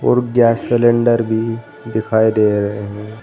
और gas cylinder भी दिखाई दे रहे हैं।